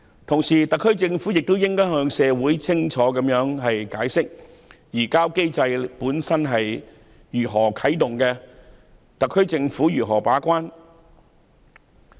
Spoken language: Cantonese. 同時，特區政府亦應向社會清楚解釋，如何啟動移交機制及特區政府如何把關。